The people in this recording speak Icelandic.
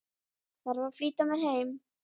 Þarf að flýta mér heim.